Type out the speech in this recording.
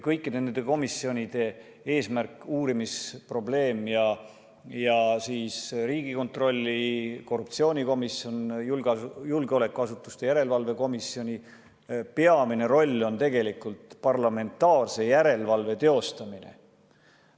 Kõikide nende komisjonide, Riigikontrolli korruptsioonikomisjoni ja julgeolekuasutuste järelevalve komisjoni eesmärk ja peamine roll on tegelikult parlamentaarse järelevalve teostamine.